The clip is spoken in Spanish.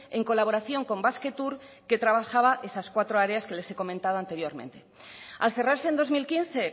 en colaboración con basquetour que trabajaba esas cuatro áreas que les he comentado anteriormente al cerrarse en dos mil quince